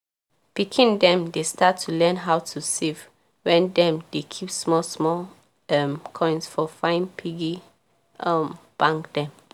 pikin dem dey start to learn how to save wen dem dey keep small small um coins for fine piggy um bank dem.